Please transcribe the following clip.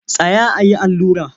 Tsaya a yi allura!